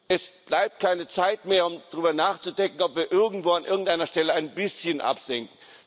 Es bleibt keine Zeit mehr, um darüber nachzudenken, ob wir irgendwo an irgendeiner Stelle ein bisschen absenken.